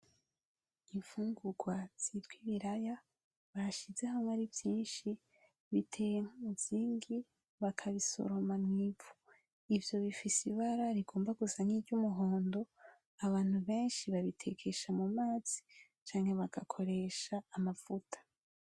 Imfungrwa zitwa ibiraya bashize hamwe ari vyishi biteye nk’umuzingi bakabisoroma mw’ivu, ivyo bifise ibara rigomba gusa ni ry’umuhondo ,abantu beshi babitekesha mu mazi canke bagakoresha amavuta.